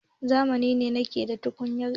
Zamani ne na aiki da tukunyar iska.